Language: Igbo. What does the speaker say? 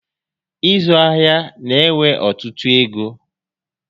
Ịzụ ahịa na ewe ọtụtụ égo